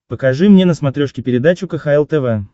покажи мне на смотрешке передачу кхл тв